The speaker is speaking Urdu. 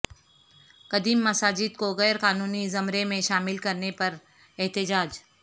قدیم مساجد کو غیر قانونی زمرے میں شامل کرنے پراحتجاج